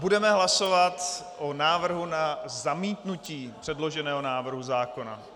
Budeme hlasovat o návrhu na zamítnutí předloženého návrhu zákona.